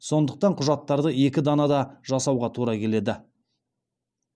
сондықтан құжаттарды екі данада жасауға тура келеді